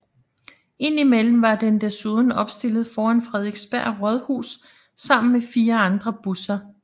Indimellem var den desuden opstillet foran Frederiksberg Rådhus sammen med fire andre busser